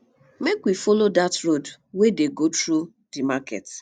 make we folo dat road wey dey go through di market